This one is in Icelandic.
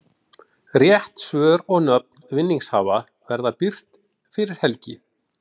Rétt svör og nöfn vinningshafa verða birt fyrir helgi.